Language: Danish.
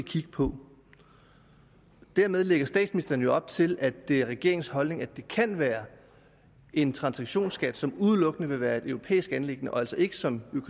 kigge på dermed lægger statsministeren jo op til at det er regeringens holdning at det kan være en transaktionsskat som udelukkende vil være et europæisk anliggende og altså ikke som